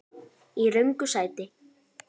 Í röngu sæti.